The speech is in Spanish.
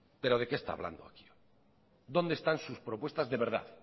pero de qué está hablando aquí hoy dónde están sus propuestas de verdad